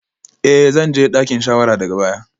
Eh zan je dakin shawara daga baya